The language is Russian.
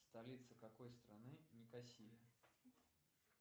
столица какой страны никосия